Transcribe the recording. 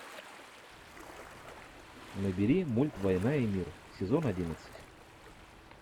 набери мульт война и мир сезон одиннадцать